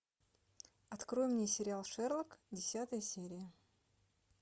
открой мне сериал шерлок десятая серия